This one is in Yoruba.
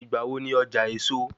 Ìgbà wo ni ọjà èso?